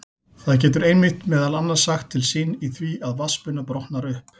Það getur einmitt meðal annars sagt til sín í því að vatnsbuna brotnar upp.